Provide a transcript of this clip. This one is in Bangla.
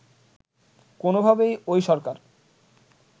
কোনোভাবেই ওই সরকার